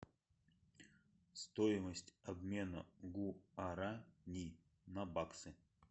стоимость обмена гуарани на баксы